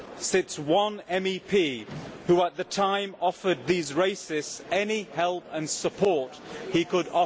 sits one MEP who at the time offered these racists any help and support he could.